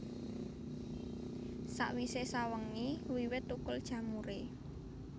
Sawisé sawengi wiwit thukul jamuré